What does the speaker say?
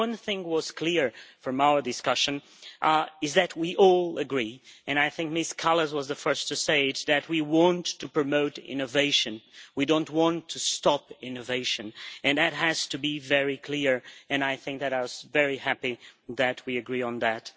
But one thing that was clear from our discussion is that we all agree, and I think Ms Kallas was the first to say it, that we want to promote innovation, we do not want to stop innovation, and that has to be very clear and I was very happy that we agree on that.